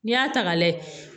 N'i y'a ta ka lajɛ